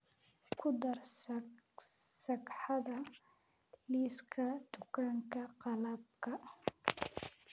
ku dar sagxada liiska dukaanka qalabka